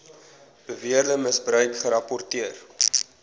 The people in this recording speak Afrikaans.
beweerde misbruik gerapporteer